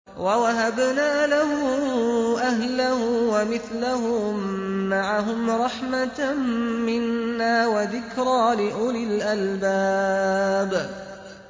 وَوَهَبْنَا لَهُ أَهْلَهُ وَمِثْلَهُم مَّعَهُمْ رَحْمَةً مِّنَّا وَذِكْرَىٰ لِأُولِي الْأَلْبَابِ